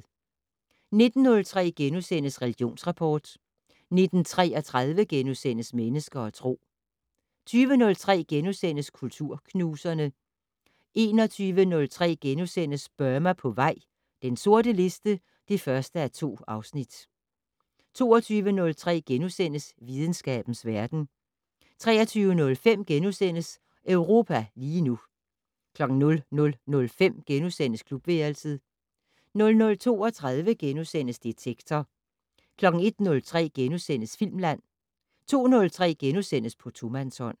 19:03: Religionsrapport * 19:33: Mennesker og Tro * 20:03: Kulturknuserne * 21:03: Burma på vej - den sorte liste (1:2)* 22:03: Videnskabens verden * 23:05: Europa lige nu * 00:05: Klubværelset * 00:32: Detektor * 01:03: Filmland * 02:03: På tomandshånd *